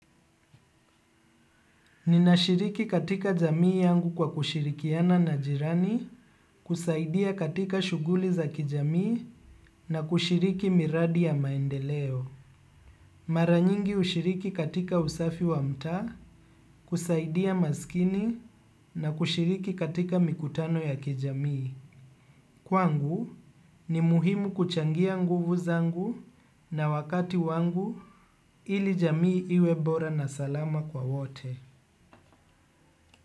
Ninashiriki katika jamii yangu kwa kushirikiana na jirani, kusaidia katika shughuli za kijamii na kushiriki miradi ya maendeleo. Mara nyingi hushiriki katika usafi wa mtaa, kusaidia maskini na kushiriki katika mikutano ya kijamii. Kwangu ni muhimu kuchangia nguvu zangu na wakati wangu ili jamii iwe bora na salama kwa wote.